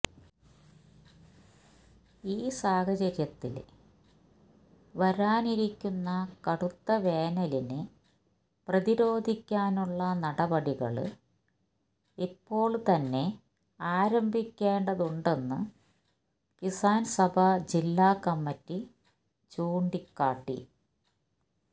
ഈ സാഹചര്യത്തില് വരാനിരിക്കുന്ന കടുത്ത വേനലിനെ പ്രതിരോധിക്കാനുള്ള നടപടികള് ഇപ്പോള് തന്നെ ആരംഭിക്കേണ്ടതുണ്ടെന്ന് കിസാന്സഭ ജില്ലാ കമ്മിറ്റി ചൂണ്ടിക്കാട്ടി